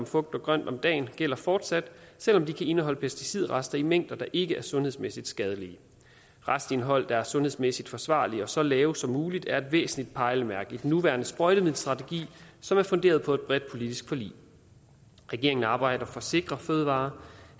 frugt og grønt om dagen gælder fortsat selv om det kan indeholde pesticidrester i mængder der ikke er sundhedsmæssigt skadelige et restindhold der er sundhedsmæssigt forsvarligt og så lavt som muligt er et væsentligt pejlemærke i den nuværende sprøjtemiddelstrategi som er funderet på et bredt politisk forlig regeringen arbejder for sikre fødevarer